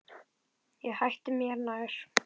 Ég hætti mér nær.